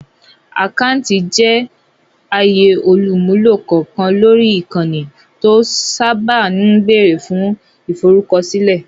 Àkáńtì jẹ́ àyè olùmúlò kọ̀ọ̀kan lórí ìkànnì, tó sáábà ń bẹ̀rẹ̀ fún ìforúkọsílẹ̀